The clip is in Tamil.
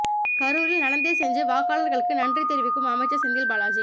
கரூரில் நடந்தே சென்று வாக்காளர்களுக்கு நன்றி தெரிவிக்கும் அமைச்சர் செந்தில் பாலாஜி